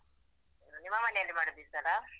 ನಿಮ್ಮ ಮನೆಯಲ್ಲಿ ಮಾಡುದಾ ಈಸಲ?